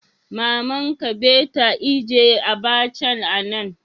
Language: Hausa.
Mama'n ka be ta ijie abacha'n a'nan.